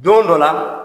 Don dɔ la